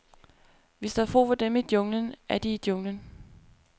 Hvis der er brug for dem i junglen, er de i junglen.